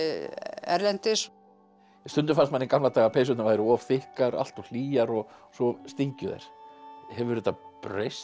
erlendis stundum fannst manni í gamla daga að peysurnar væru of þykkar hlýjar og svo stingju þær hefur þetta breyst